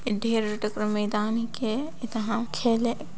ए ढेर रोटक कर मैदान हेके ए तहा खेलेक |